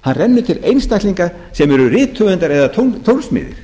hann rennur til einstaklinga sem eru rithöfundar eða tónsmiðir